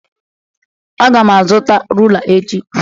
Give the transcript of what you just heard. Aga m azụta rula echi